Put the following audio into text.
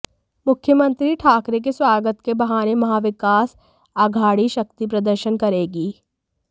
मुख्यमंत्री ठाकरे के स्वागत के बहाने महाविकास आघाड़ी शक्ति प्रदर्शन करेगी